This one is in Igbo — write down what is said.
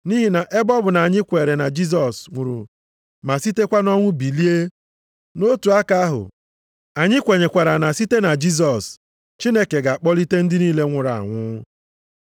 Nʼihi na ebe ọ bụ na anyị kweere na Jisọs nwụrụ ma sitekwa nʼọnwụ bilie, nʼotu aka ahụ, anyị kwenyekwara na site na Jisọs, Chineke ga-akpọlite ndị niile nwụrụ anwụ.